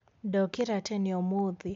ndokĩra tene umuthĩ